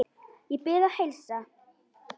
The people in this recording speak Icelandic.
Ég bið að heilsa